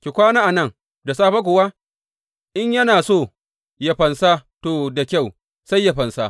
Ki kwana a nan, da safe kuwa in yana so yă fansa, to, da kyau, sai yă fansa.